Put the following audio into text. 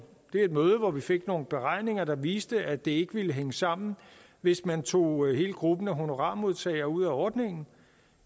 et møde hvor vi fik nogle beregninger der viste at det ikke ville hænge sammen hvis man tog hele gruppen af honorarmodtagere ud af ordningen